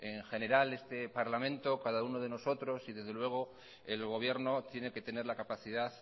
en general este parlamento cada uno de nosotros y desde luego el gobierno tiene que tener la capacidad